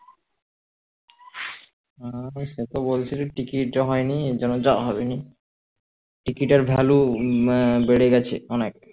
উহ সে তো বলছিলো টিকিট হয়নি এরজন্যে যাওয়া হবেনি টিকিট এর value বেড়ে গেছে অনেক